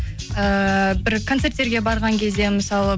ііі бір концерттерге барған кезде мысалы